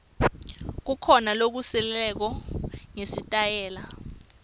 kukhona lokusilelako ngesitayela